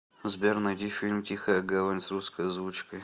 сбер найди фильм тихая гавань с русской озвучкой